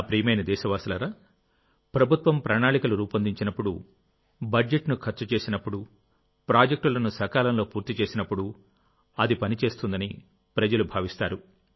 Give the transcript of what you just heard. నా ప్రియమైన దేశవాసులారాప్రభుత్వం ప్రణాళికలు రూపొందించినప్పుడు బడ్జెట్ను ఖర్చు చేసినప్పుడు ప్రాజెక్టులను సకాలంలో పూర్తి చేసినప్పుడుఅది పని చేస్తుందని ప్రజలు భావిస్తారు